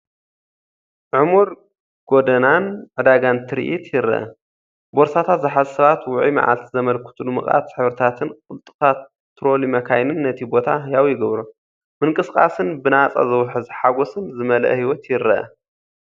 ዕሙር ጎደናን ዕዳጋን ትርኢት ይርአ። ቦርሳታት ዝሓዙ ሰባት፡ ውዑይ መዓልቲ ዘመልክቱ ድሙቓት ሕብርታትን ቅልጡፋት ትሮሊ መካይንን ነቲ ቦታ ህያው ይገብሮ። ምንቅስቓስን ብናጻ ዝውሕዝ ሓጎስን ዝመልአ ህይወት ይረአ።